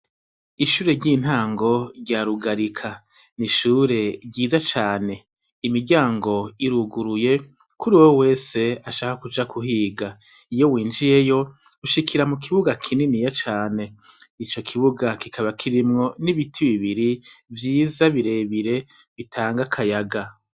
Ishure ry'intango rya Rugarika ni ishure ryiza cane. Imiryango iruguruye kuri uwo wese ashaka kuja kuhiga. Iyo winjiyeyo ushikira mu kibuga kininiya cane, ico kibuga kikaba kirimwo n'ibiti bibiri vyiza bire bire bitanga akayaga.